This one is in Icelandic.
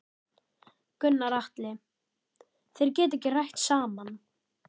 Gunnar Atli: Þeir geta ekki rætt saman?